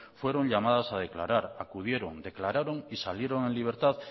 fueron llamadas a declarar acudieron declararon y salieron en libertad